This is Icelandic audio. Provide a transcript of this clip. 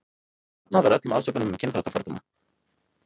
Hafnað var öllum ásökunum um kynþáttafordóma.